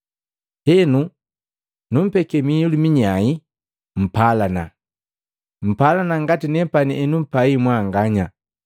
Henu nupeke miilu minyae, mpalana. Mpalana ngati nepani henumpai mwanganya.